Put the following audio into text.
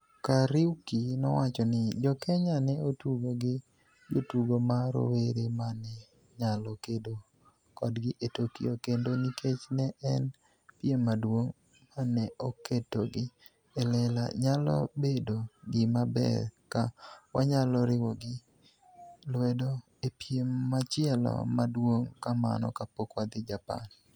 Kariuki nowachoni, "Jo Kenya ne otugo gi jotugo ma rowere ma ne nyalo kedo kodgi e Tokyo kendo nikech ne en piem maduong' ma ne oketogi e lela, nyalo bedo gima ber ka wanyalo riwogi lwedo e piem machielo ma duong' kamano kapok wadhi Japan".